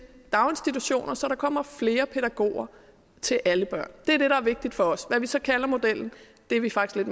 daginstitutioner så der kommer flere pædagoger til alle børn det er det der er vigtigt for os hvad vi så kalder modellen er vi faktisk